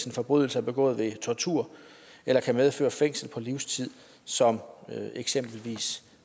en forbrydelse er begået ved tortur eller kan medføre fængsel på livstid som eksempelvis